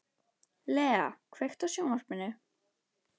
Lea, kveiktu á sjónvarpinu.